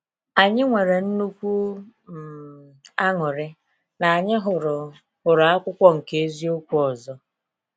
Anyị nwere nnukwu um añụrị na anyị hụrụ hụrụ akwụkwọ nke eziokwu ọzọ.